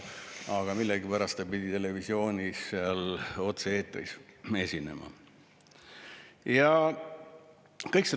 Aga millegipärast ta pidi televisioonis otse-eetris esinema.